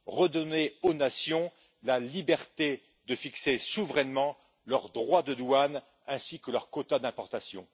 redonner aux nations la liberté de fixer souverainement leurs droits de douane ainsi que leurs quotas d'importations.